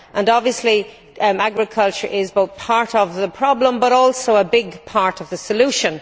Obviously, agriculture is not only part of the problem but also a big part of the solution.